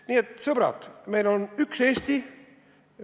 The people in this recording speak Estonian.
Nii et sõbrad, meil on üks Eesti.